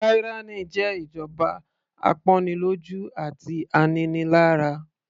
Tyranny jẹ́ ìjọba apọ́nilọ́jú àti aninilára.